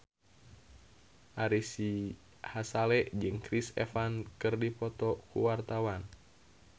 Ari Sihasale jeung Chris Evans keur dipoto ku wartawan